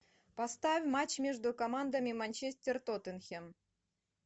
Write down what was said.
поставь матч между командами манчестер тоттенхэм